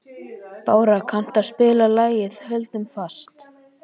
Bára, kanntu að spila lagið „Höldum fast“?